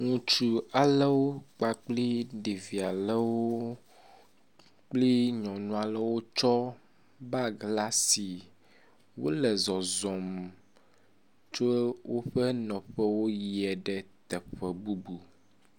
Ŋutsu alewo kpakpli ɖevi alewo kple nyɔnu alewo tsɔ bagi la si. Wole zɔzɔm tso woƒe nɔƒewo yie ɖe teƒe bubu.